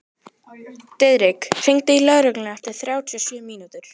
Diðrik, hringdu í Löru eftir þrjátíu og sjö mínútur.